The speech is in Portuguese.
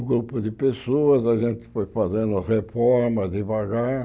Um grupo de pessoas, a gente foi fazendo reformas devagar.